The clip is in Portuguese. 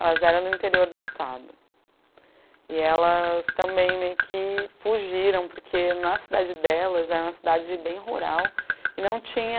elas eram do interior do estado e elas também meio que fugiram porque na cidade delas é uma cidade bem rural e não tinha